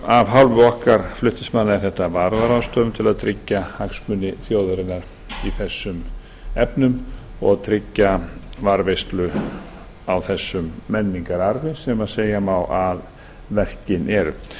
af hálfu okkar flutningsmanna er þetta varúðarráðstöfun til að tryggja hagsmuni þjóðarinnar í þessum efnum og tryggja varðveislu á þessum menningararfi sem segja má að verkin séu